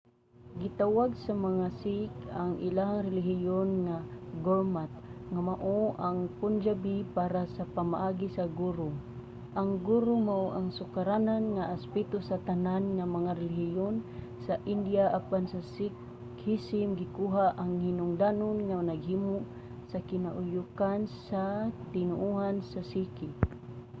gitawag sa mga sikh ang ilang relihiyon nga gurmat nga mao ang punjabi para sa pamaagi sa guru". ang guru mao ang sukaranan nga aspeto sa tanan nga mga relihiyon sa india apan sa sikhism gikuha ang kahinungdanon nga naghimo sa kinauyokan sa mga tinoohan sa sikh